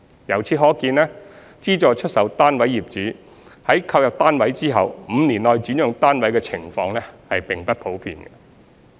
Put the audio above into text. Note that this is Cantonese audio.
由此可見，資助出售單位業主在購入單位後5年內轉讓單位的情況並不普遍。